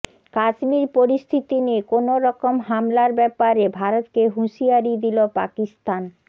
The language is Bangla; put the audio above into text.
কাশ্মীর পরিস্থিতি নিয়ে কোন রকম হামলার ব্যাপারে ভারতকে হুঁশিয়ারি দিল পাকিস্তান